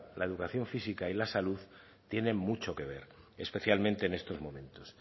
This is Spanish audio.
la educación física y la salud tienen mucho que ver especialmente en estos momentos